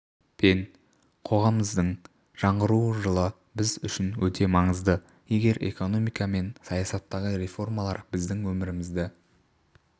пен қоғамымыздың жаңғыру жылы біз үшін өте маңызды егер экономика мен саясаттағы реформалар біздің өмірімізді